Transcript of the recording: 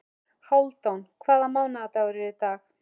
Hálfdan, hvaða mánaðardagur er í dag?